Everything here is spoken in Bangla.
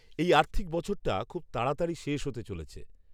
এই আর্থিক বছরটা খুব তাড়াতাড়ি শেষ হতে চলেছে।